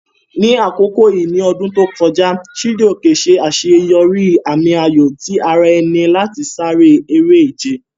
Ní àkókò yìí ní ọdún tó kọjá, Chijioke ṣe àṣeyọrí àmì-ayò ti ara ẹni láti sáré eré-ìje.